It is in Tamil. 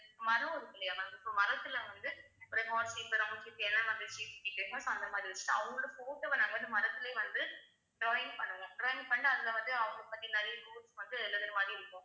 மரம் இருக்கில்லையா ma'am இப்ப மரத்துல வந்து ஒரு heart shape உ round shape உ என்ன மாதிரி shape நீங்க அவங்களோட photo வ நாங்க வந்து மரத்துலயே வந்து drawing பண்ணுவோம் drawing பண்ண அதுல வந்து அவங்களை பத்தி நிறைய quotes வந்து எழுதற மாதிரி இருக்கும்